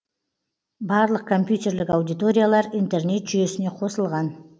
барлық компьютерлік аудиториялар интернет жүйесіне қосылған